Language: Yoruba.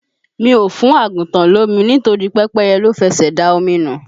Mi ò fún àgùntàn lomi nítorí pẹ́pẹ́yẹ ló fẹsè da omi nu.